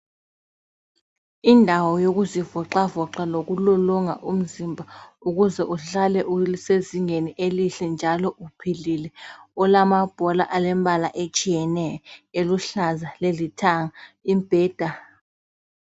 Indawo yokuzivoxavoxa lokulolonga umzimba ukuze uhlale usezingeni elihle njalo uphelele, olamabhola alombala atshiyeneyo, eluhlaza lelithanga, imbheda.